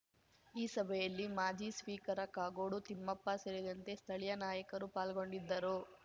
ಈ ಸಭೆಯಲ್ಲಿ ಮಾಜಿ ಸ್ಪೀಕರ ಕಾಗೋಡು ತಿಮ್ಮಪ್ಪ ಸೇರಿದಂತೆ ಸ್ಥಳೀಯ ನಾಯಕರು ಪಾಲ್ಗೊಂಡಿದ್ದರು